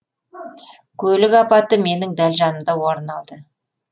көлік апаты менің дәл жанымда орын алды